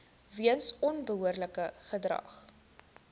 weens onbehoorlike gedrag